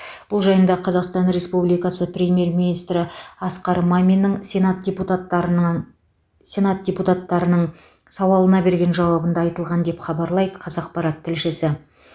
бұл жайында қазақстан республикасы премьер министрі асқар маминнің сенат депутаттарынанн сенат депутаттарының сауалына берген жауабында айтылған деп хабарлайды қазақпарат тілшісі